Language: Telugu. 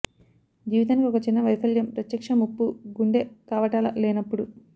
జీవితానికి ఒక చిన్న వైఫల్యం ప్రత్యక్ష ముప్పు గుండె కవాటాల లేనప్పుడు